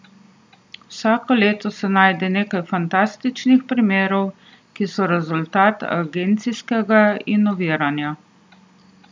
Vsako leto se najde nekaj fantastičnih primerov, ki so rezultat agencijskega inoviranja.